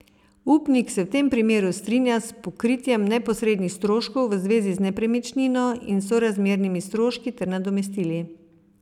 Upnik se v tem primeru strinja s pokritjem neposrednih stroškov v zvezi z nepremičnino in sorazmernimi stroški ter nadomestili.